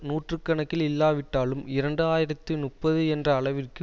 நூற்று கணக்கில் இல்லாவிட்டாலும் இரண்டு ஆயிரத்தி முப்பது என்ற அளவிற்கு